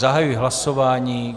Zahajuji hlasování.